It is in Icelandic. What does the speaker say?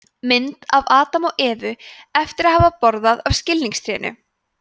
mynd af adam og evu eftir að hafa borðað af skilningstrénu